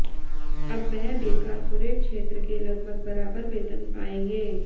अब वह भी कॉरपोरेट क्षेत्र के लगभग बराबर वेतन पाएंगे